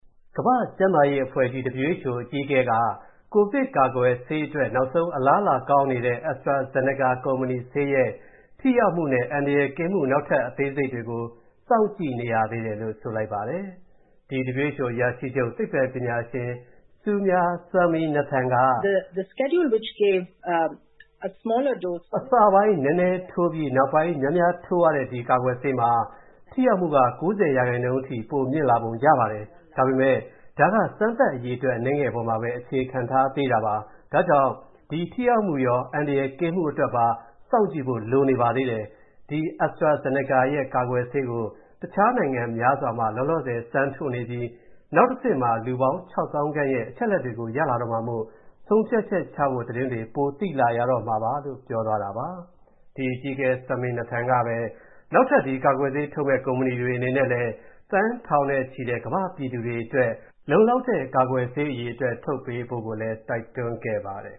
ကမ္ဘာ့ကျန်းမာရေးအဖွဲ့ WHO အကြီးအကဲက ကိုဗစ်ကာကွယ်ဆေးအတွက် နောက်ဆုံး အလားအလာကောင်းနေတဲ့ AstraZeneca ကုမ္ပဏီဆေးရဲ့ ထိရောက်မူနဲ့အန္တရာယ်ကင်းမူ နောက်ထပ်အသေးစိတ်တွေကို စောင့်ကြည့်နေရသေးတယ်လို့ ဆိုလိုက်ပါတယ်။ ဒီ WHO အရာရှိချုပ် သိပ္ပံပညာရှင် Soumya Swaminathan က “အစပိုင်းနည်းနည်းထိုးပြီး၊ နောက်ပိုင်းများများထိုးရတဲ့ ဒီကာကွယ်ဆေးမှာ ထိရောက်မူက ၉၀% အထိ ပိုမြင့်လာပုံရပါတယ်၊ ဒါပေမဲ့ ဒါက စမ်းသပ်အရေအတွက် အနည်းငယ်ပေါ်မှာပဲ အခြေခံ ထားသေးတာပါ။ ဒါကြောင့် ဒီ ထိရောက်မူရော၊ အန္တရာယ်ကင်းမူအတွက်ပါ စောင့်ကြည့်ဖို့ လိုနေပါသေးတယ်။ ဒီ AstraZenica ရဲ့ ကာကွယ်ဆေးကို တခြားနိုင်ငံများစွာမှာ လောလောဆယ်စမ်းထိုးနေပြီး၊ နောက်တဆင့်မှာ လူနာပေါင်း ၆ သောင်းခန့်ရဲ့ အချက်အလက်တွေကို ရလာတော့မှာမို့ ဆုံးဖြတ်ချဖို့ သတင်းတွေပိုသိလာရမှာပါ။” လို့ ပြောသွားတာပါ။ ဒီအကြီးအကဲ Swaminathan ကပဲ၊ နောက်ထပ် ဒီကာကွယ်ဆေးထုတ်မဲ့ ကုမ္ပဏီတွေအနေနဲ့လည်း၊ သန်းထောင်နဲ့ချီတဲ့ ကမ္ဘာ့ပြည်သူတွေအတွက် လုံလောက်တဲ့ ကာကွယ်ဆေးအရေအတွက် ထုတ်ပေးဖို့ကိုလည်း တိုက်တွန်းခဲ့ပါတယ်